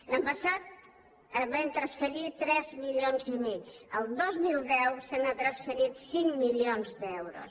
l’any passat vam transferir tres milions i mig el dos mil deu s’han transferit cinc milions d’euros